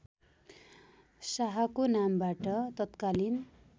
शाहको नामबाट तत्कालीन